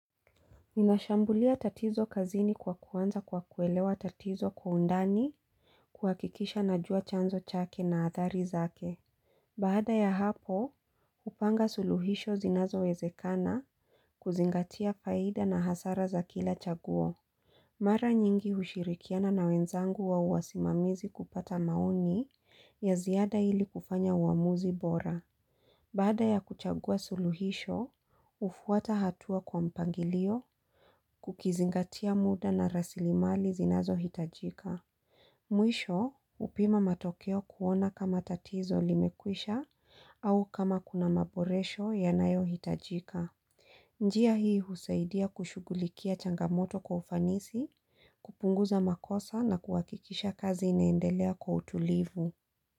Ninashambulia tatizo kazini kwa kuwanza kwa kuelewa tatizo kwa undani kuhakikisha najua chanzo chake na athari zake. Baada ya hapo, hupanga suluhisho zinazo wezekana kuzingatia faida na hasara za kila chaguo. Mara nyingi hushirikiana na wenzangu wa uwasimamizi kupata maoni ya ziada ili kufanya uamuzi bora. Baada ya kuchagua suluhisho, hufuata hatua kwa mpangilio kukizingatia muda na rasili mali zinazohitajika. Mwisho, hupima matokeo kuona kama tatizo limekwisha au kama kuna maboresho yanayo hitajika. Njia hii husaidia kushugulikia changamoto kwa ufanisi, kupunguza makosa na kuhakikisha kazi inaendelea kwa utulivu.